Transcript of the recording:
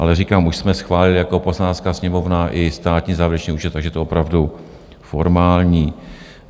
Ale říkám, už jsme schválili jako Poslanecká sněmovna i státní závěrečný účet, takže je to opravdu formální.